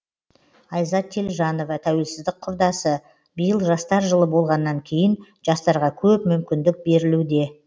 айзат телжанова тәуелсіздік құрдасы биыл жастар жылы болғаннан кейін жастарға көп мүмкіндік берілуде